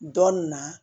Dɔn nin na